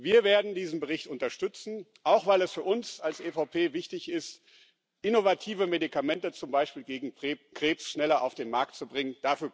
Wir werden diesen Bericht unterstützen, auch weil es für uns als EVP wichtig ist, innovative Medikamente, zum Beispiel gegen Krebs, schneller auf den Markt zu bringen.